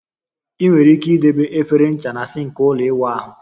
Ị nwere ike idebe efere ncha na sink ụlọ ịwụ ahụ